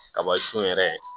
Kaba sun yɛrɛ